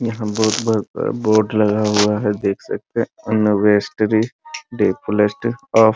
यहां बहुत बड़ा बोर्ड लगा हुआ है देख सकते है --